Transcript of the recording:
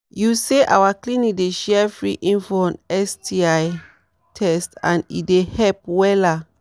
you say our clinic dey share free info on sti test and e dey help wella